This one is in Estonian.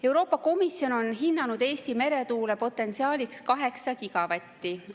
Euroopa Komisjon on hinnanud Eesti meretuulepotentsiaaliks 8 gigavatti.